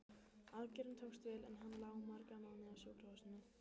Aðgerðin tókst vel, en hann lá marga mánuði á sjúkrahúsinu.